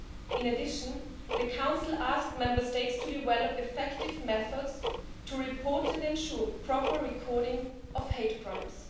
In addition, the Council has asked Member States to develop effective methods to report, and ensure the proper recording of, hate crimes.